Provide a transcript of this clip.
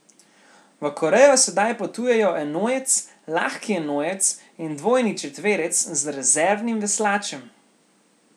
V Korejo sedaj potujejo enojec, lahki enojec in dvojni četverec z rezervnim veslačem.